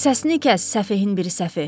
Səsini kəs, səfehin biri səfeh!